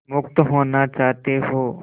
मुक्त होना चाहते हो